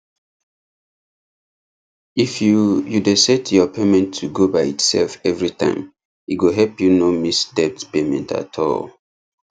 if you you dey set your payment to go by itself every time e go help you no miss debt payment at all